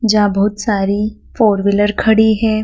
जहाँ बहुत सारी फोर व्हीलर खड़ी हैं।